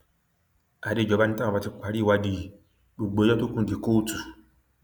àdéjọba ni táwọn bá ti parí ìwádìí yìí gbogbo ẹjọ tó kù di kóòtù